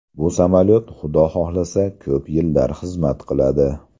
Bu samolyot Xudo xohlasa ko‘p yillar xizmat qiladi.